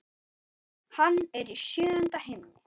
Hann er í sjöunda himni.